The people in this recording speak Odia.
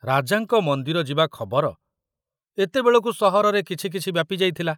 ରାଜାଙ୍କ ମନ୍ଦିର ଯିବା ଖବର ଏତେବେଳକୁ ସହରରେ କିଛି କିଛି ବ୍ୟାପିଯାଇଥିଲା।